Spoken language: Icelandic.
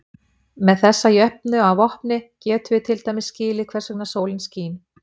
Með þessa jöfnu að vopni getum við til dæmis skilið hvers vegna sólin skín.